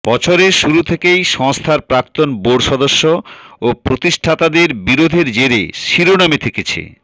বছরের শুরু থেকেই সংস্থার প্রাক্তন বোর্ড সদস্য ও প্রতিষ্ঠাতাদের বিরোধের জেরে শিরোনামে থেকেছে